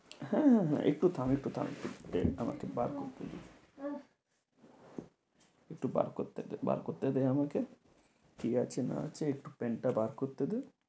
হ্যাঁ হ্যাঁ হ্যাঁ একটু থাম, একটু থাম, pen টা আমাকে বার করতে দে। একটু বার করতে দে, বার করতে দে আমাকে। ঠিক আছে না আছে একটু pen টা বার করতে দে।